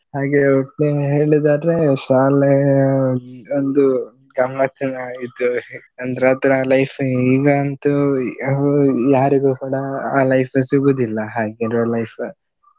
ಹಾಗೆ ಒಟ್ನಲ್ಲಿ ಹೇಳುದಾದ್ರೆ ಶಾಲೆ ಒಂದು ಗಮ್ಮತ್ತಿನ ಇದು ಅಂದ್ರೆ ಆ ತರ life ಈಗಂತೂ ಯಾರಿಗೂಸ ಕೂಡ ಆ life ಸಿಗುವುದಿಲ್ಲ ಹಾಗಿರುವ life .